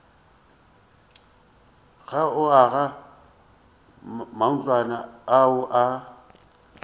go aga matlwana ao a